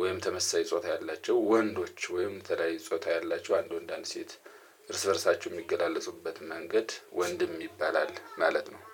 ወይም ተመሳሳይ ጾታ ያላቸው ወንዶች ወይም የተለያዩ ጾታ ያላችሁ አንድ ወንድ አንድ ሴት እርስ በእርሳችሁ የሚገላለጹበት መንገድ ወንድም ይባላል ማለት ነው